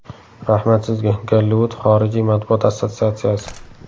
Rahmat sizga, Gollivud xorijiy matbuot assotsiatsiyasi.